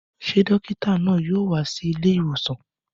Ṣé dókítà náà yóò wá sí ilé ìwòsàn?